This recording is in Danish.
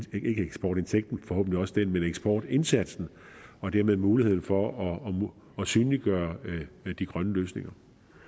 ikke eksportindtægten forhåbentlig også den men eksportindsatsen og dermed muligheden for at synliggøre de grønne løsninger